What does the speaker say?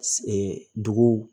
duguw